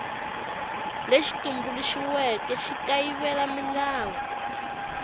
lexi tumbuluxiweke xi kayivela milawu